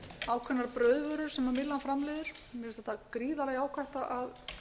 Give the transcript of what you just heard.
ákveðnar brauðvörur sem myllan framleiðir mér finnst bara gríðarlega jákvætt að